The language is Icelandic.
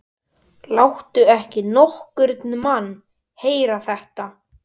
Láttu ekki nokkurn mann heyra þetta!